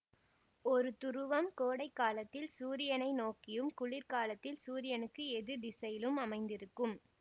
ஒரு துருவம் கோடை காலத்தில் சூரியனை நோக்கியும் குளிர்காலத்தில் சூரியனுக்கு எதிர் திசையிலும் அமைந்திருக்கும்